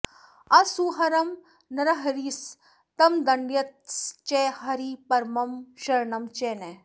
असुहरं नृहरिस्तमदण्डयत्स च हरिः परमं शरणं च नः